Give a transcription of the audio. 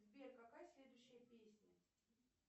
сбер какая следующая песня